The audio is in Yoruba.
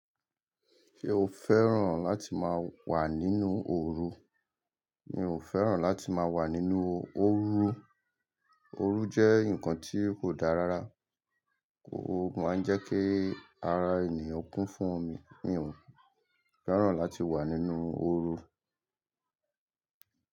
Ṣé o fẹ́ràn láti máa wà nínú orun? Mi ò fẹ́ràn láti máa wà nínú orun. Oru jẹ́ ǹkan tí kò dáa rárá. Ó máa ń jẹ́ kí ara ènìyàn kún fún omi. Mi ò fẹ́ràn láti wà nínú oru.